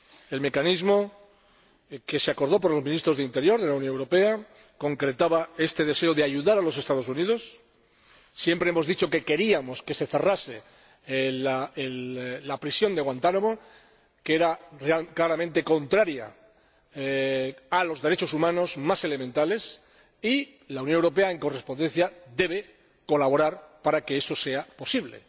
El mecanismo que acordaron los Ministros del Interior de la Unión Europea concretaba este deseo de ayudar a los Estados Unidos siempre hemos dicho que queríamos que se cerrase la prisión de Guantánamo, que era claramente contraria a los derechos humanos más elementales, y la Unión Europea, en correspondencia, debe colaborar para que eso sea posible,